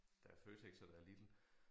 Der er Føtex og der er Lidl